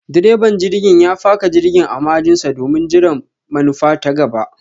direban jirgin ya faka jirgin a ma'ajin sa domin jiran manufa ta gaba.